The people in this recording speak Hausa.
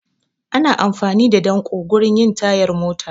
Ana amfani da danƙo wurin yin tayar mota